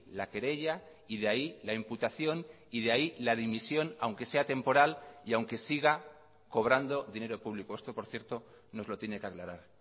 la querella y de ahí la imputación y de ahí la dimisión aunque sea temporal y aunque siga cobrando dinero público esto por cierto nos lo tiene que aclarar